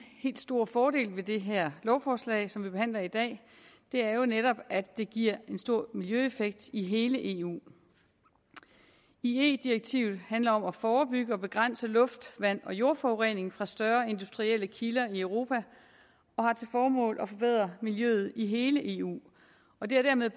helt store fordel ved det her lovforslag som vi behandler i dag er jo netop at det giver en stor miljøeffekt i hele eu ie direktivet handler om at forebygge og begrænse luft vand og jordforurening fra større industrielle kilder i europa og har til formål at forbedre miljøet i hele eu og det har dermed